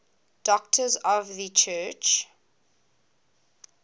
doctors of the church